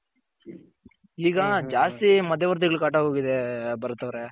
ಈಗ ಜಾಸ್ತಿ ಮಧ್ಯ ವರ್ತಿಗಳ್ ಕಾಟ ಆಗೋಗಿದೆ ಭರತ್ ಅವ್ರೆ.